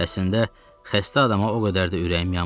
Əslində, xəstə adama o qədər də ürəyim yanmır.